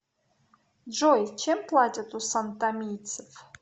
джой чем платят у сантомийцев